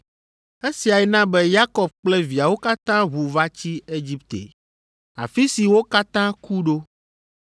Esiae na be Yakob kple viawo katã ʋu va tsi Egipte, afi si wo katã ku ɖo,